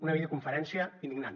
una videoconferència indignant